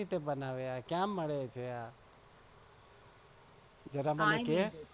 કઇરીતે બનાવે આ ક્યાં મળે છે જરા મને કે